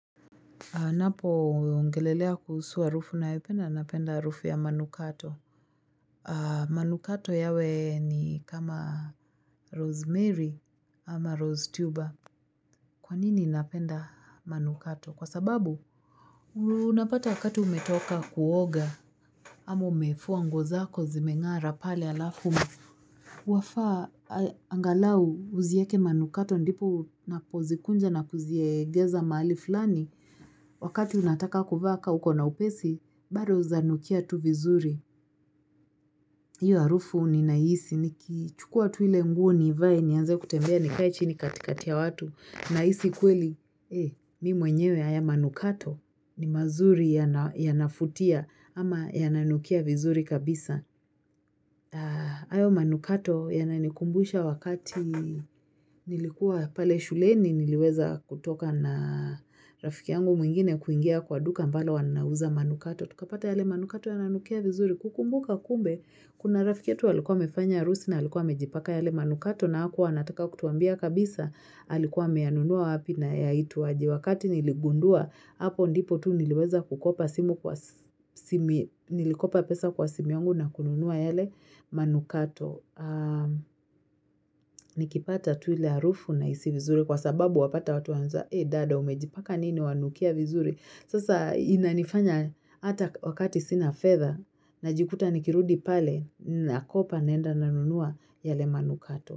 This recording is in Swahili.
Napo ongelelea kushuu harufu nayopenda napenda harufu ya manukato. Manukato yawe ni kama rosemary ama rose tuber. Kwanini napenda manukato? Kwa sababu? Unapata wakati umetoka kuoga. Ama umefuwa nguo zako zimengara pale alafu. Wafaa angalau uzieke manukato ndipo unapozikunja na kuziegeza maali fulani. Wakati unataka kuvaa ka uko na upesi. Bado zanukia tu vizuri, hiyo harufu ninaihisi, ni kiichukua tu ile nguo ni ivae, nianze kutembea nikae chini katikatia watu, nahisi kweli, eh, mi mwenyewe haya manukato ni mazuri ya nafutia ama ya nanukia vizuri kabisa. Ayo manukato yananikumbusha wakati nilikuwa pale shuleni niliweza kutoka na rafiki yangu mwingine kuingia kwa duka mbalo wanauza manukato. Tukapata yale manukato yananukia vizuri kukumbuka kumbe. Kuna rafiki yetu alikuwa amefanya arusi na alikuwa amejipaka yale manukato na hakuwa anataka kutuambia kabisa. Alikuwa ameyanunua wapi na yaitwa aje wakati niligundua. Hapo ndipo tu niliweza kukopa simu kwa simi, nilikopa pesa kwa simu yangu na kununua yale manukato. Nikipata tu ile harufu nahisi vizuri kwa sababu wapata watu waanza, e dada umejipaka nini wanukia vizuri. Sasa inanifanya hata wakati sina fedha, najikuta nikirudi pale, nakopa naenda na nunua ylae manukato.